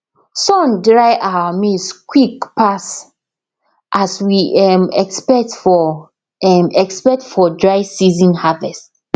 sun dry our maize quick pass as we um expect for um expect for dry season harvest